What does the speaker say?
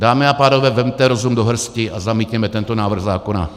Dámy a pánové, vezměte rozum do hrsti a zamítněme tento návrh zákona.